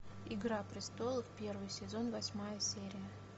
игра престолов первый сезон восьмая серия